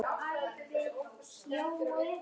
Ég blind